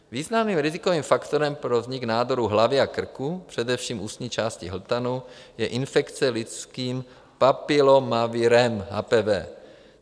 Významným rizikovým faktorem pro vznik nádoru hlavy a krku, především ústní části hltanu, je infekce lidským papilomavirem, HPV.